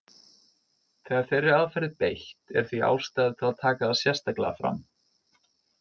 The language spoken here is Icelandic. Þegar þeirri aðferð er beitt er því ástæða til að taka það sérstaklega fram.